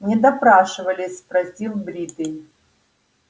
не допрашивали спросил бритый